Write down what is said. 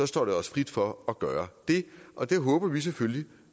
står det os frit for at gøre det og det håber vi selvfølgelig